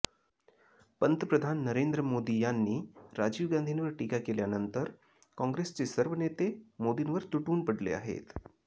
पंतप्रधान नरेंद्र मोदी यांनी राजीव गांधींवर टीका केल्यानंतर काँग्रेसचे सर्व नेते मोदींवर तुटून पडले आहेत